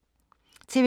TV 2